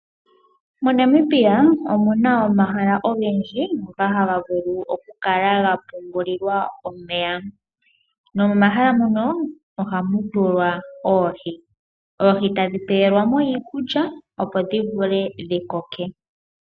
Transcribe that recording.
MoNamibia omu na omahala ogendji ngoka haga vulu okupungulilwa omeya . Momahala muno ohamu tulwa oohi . Oohi etadhi pelwa mo iikulya opo dhi koke.